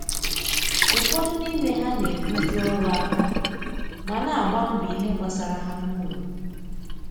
ụfọdụ n'ime ha na ebu ju ọrụ aka ma na agba mbọ ìhè gbasara ha na ụlọ